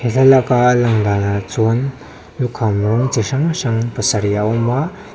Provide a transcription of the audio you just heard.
thlalak a landanah chuan lukham rawng chi hrang hrang pasarih a awm a--